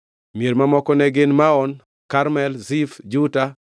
Mier mamoko ne gin: Maon, Karmel, Zif, Juta,